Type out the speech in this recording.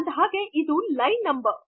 ಅಂದಹಾಗೆ ಇದು line number